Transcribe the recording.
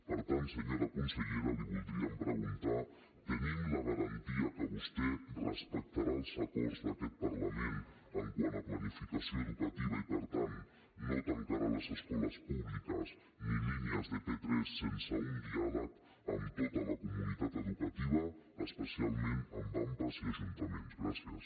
per tant senyora consellera li voldríem preguntar tenim la garantia que vostè respectarà els acords d’aquest parlament quant a planificació educativa i per tant no tancarà les escoles públiques ni línies de p3 sense un diàleg amb tota la comunitat educativa especialment amb ampa i ajuntaments gràcies